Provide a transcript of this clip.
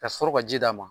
Ka sɔrɔ ka ji d'a ma